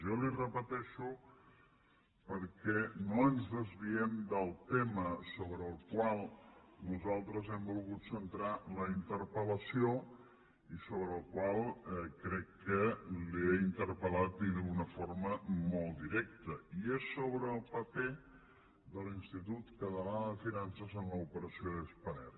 jo li ho repeteixo perquè no ens desviem del tema sobre el qual nosaltres hem volgut centrar la interpellació i sobre el qual crec que l’he interpel·lat i d’una forma molt directa i és sobre el paper de l’institut català de finances en l’operació de spanair